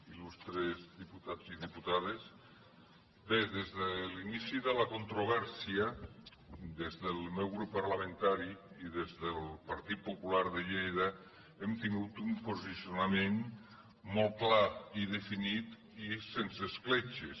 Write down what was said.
il·lustres diputats i diputades bé des de l’inici de la controvèrsia des del meu grup parlamentari i des del partit popular de lleida hem tingut un posicionament molt clar i definit i sense escletxes